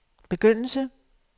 begyndelse